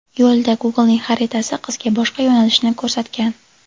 Yo‘lda Google’ning xaritasi qizga boshqa yo‘nalishni ko‘rsatgan.